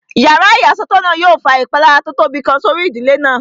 Yàrá ìyàsọ́tọ̀ náà yóò fa ìpalára tó tóbi kan sórí ìdílé náà